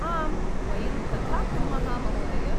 आम्, वयं तथा कुर्मः, महोदय!